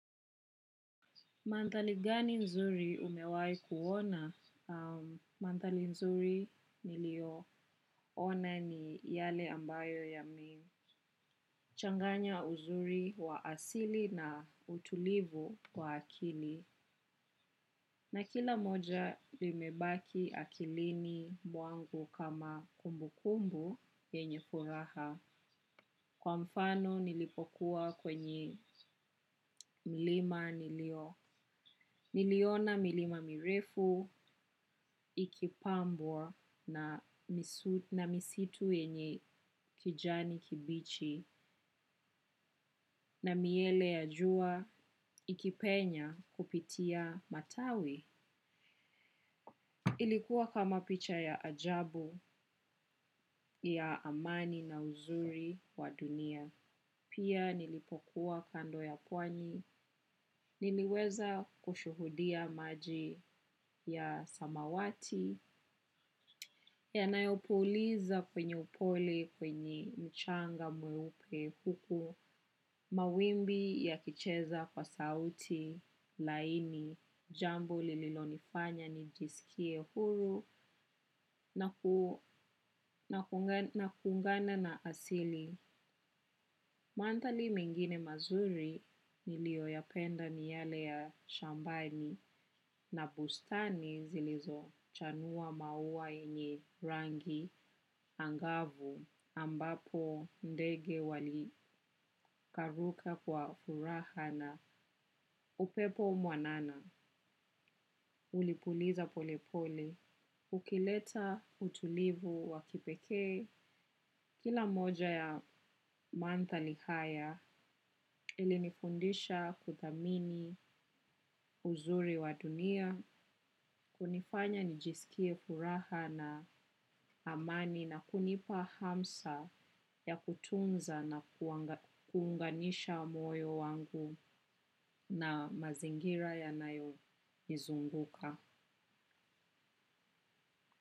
Mandhari gani nzuri umewai kuona? Mandhari nzuri niliyoona ni yale ambayo yamechanganya uzuri wa asili na utulivu kwa akili. Na kila moja limebaki akilini mwangu kama kumbu kumbu yenye furaha. Kwa mfano nilipokuwa kwenye milima nilio. Niliona milima mirefu, ikipambwa na misitu yenye kijani kibichi. Na miale ya jua, ikipenya kupitia matawi. Ilikuwa kama picha ya ajabu, ya amani na uzuri wa dunia. Pia nilipokuwa kando ya pwani. Niliweza kushuhudia maji ya samawati. Yanayopuliza kwenye upole kwenye mchanga mweupe huku mawimbi ya kicheza kwa sauti laini, jambo lililonifanya nijisikie huru na kuungana na asili. Mandhari mengine mazuri nilioyapenda ni yale ya shambani na bustani zilizo chanua maua yenye rangi angavu ambapo ndege walirukaruka kwa huraha na upepo mwanana ulipuliza polepole. Ukileta utulivu wa kipekee kila moja ya mandhali haya ili nifundisha kuthamini uzuri wa dunia, hunifanya nijisikie furaha na amani na kunipa hamsa ya kutunza na kuunganisha moyo wangu na mazingira yanayonizunguka.